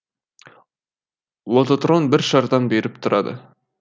лототрон бір шардан беріп тұрады